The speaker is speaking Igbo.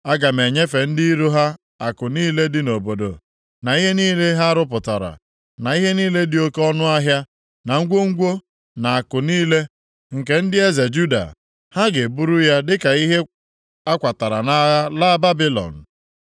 Aga m enyefe ndị iro ha akụ niile dị nʼobodo, na ihe niile ha rụpụtara, na ihe niile dị oke ọnụahịa, na ngwongwo na akụ niile nke ndị eze Juda. Ha ga-eburu ya dịka ihe a kwatara nʼagha laa Babilọn.